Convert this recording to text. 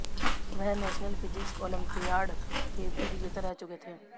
वह national physics olympiad के भी विजेता रह चुके थे